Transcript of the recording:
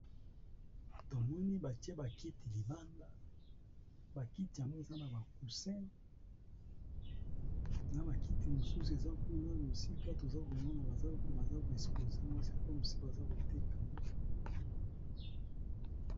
Tomoni ba tier bakiti limbangda bakiti tango Ezra naba cousin